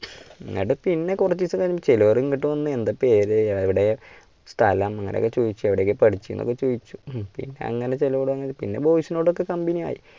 എങ്ങട്ട് പിന്നെ കുറച്ച് ദിവസം കഴിഞ്ഞ് ചിലവർ ഇങ്ങട്ട് വന്ന് എന്താ പേര് എവിടെ സ്ഥലം അങ്ങനെ ഒക്കെ ചോദിച്ചു എവിടെ ഒക്കയാ പഠിച്ചേന്ന് ഒക്കെ ചോദിച്ചു പിന്നെ അങ്ങനെ പിന്നെ boys നോട് ഒക്കെ കമ്പനി ആയി.